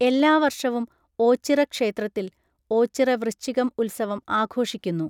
എല്ലാ വർഷവും ഓച്ചിറ ക്ഷേത്രത്തിൽ ഓച്ചിറ വൃശ്ചികം ഉത്സവം ആഘോഷിക്കുന്നു.